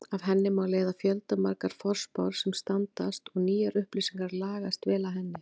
Af henni má leiða fjöldamargar forspár sem standast og nýjar upplýsingar lagast vel að henni.